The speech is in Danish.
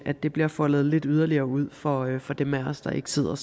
det bliver foldet lidt yderligere ud for for dem af os der ikke sidder